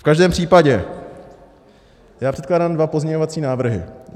V každém případě já předkládám dva pozměňovací návrhy.